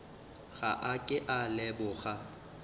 ga a ke a leboga